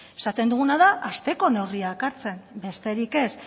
esaten duguna da hasteko neurriak hartzen besterik ez